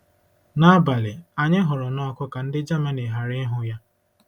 N'abalị, anyị hụrụ n'ọkụ ka ndị Germany ghara ịhụ ya.